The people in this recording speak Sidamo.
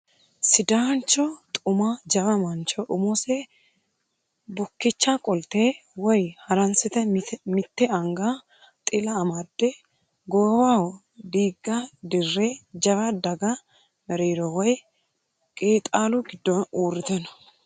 Sidaancho xuma jawa mancho umose bukkicha qolte woyi haransire mitte anga xila amadde goowaho diigga dirre jawa daga mereero woyi qeexaalu giddo uurrite no